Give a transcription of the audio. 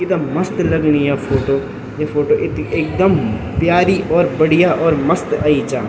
इथगा मस्त लगणी या फोटो ये फोटो एकदम प्यारी और बढ़िया और मस्त अयीं चा।